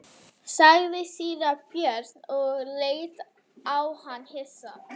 sagði síra Björn og leit á hann hissa.